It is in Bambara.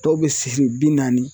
Dɔw be sihi bi naani